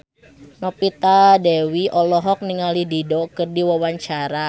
Novita Dewi olohok ningali Dido keur diwawancara